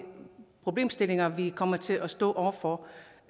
problemstillinger vi kommer til at stå over for